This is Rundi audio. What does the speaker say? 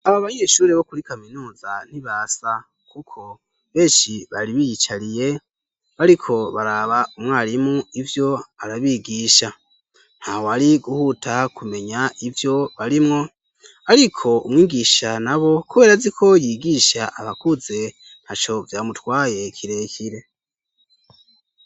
Aba banyeshure bo kuri kaminuza ntibasa kuko benshi bari biyicariye bariko baraba umwarimu ivyo arabigisha. Ntawari guhuta kumenya ivyo barimwo ariko umwigisha nabo kubera azi ko yigisha abakuze ntaco vyamutwaye kirekire.